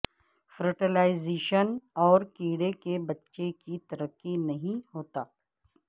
fertilisation اور کیڑے کے بچے کی ترقی نہیں ہوتا